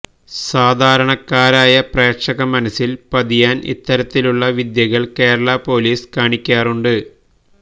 സാധാരണക്കാരായ പ്രേക്ഷക മനസ്സില് പതിയാന് ഇത്തരത്തിലുള്ള വിദ്യകള് കേരള പോലീസ് കാണിക്കാറുണ്ട്